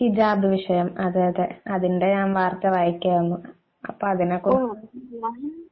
ഹിജാബ് വിഷയം അതെ അതെ അതെ അതിന്റെ ഞാൻ വാർത്ത വായിക്കുകയായിരുന്നു അപ്പോ അതിനെക്കുറിച്ച്